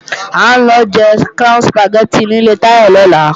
À ń lọ jẹ Crown Sùpàgẹ́tì ní ilé Táyọ̀ lọ́la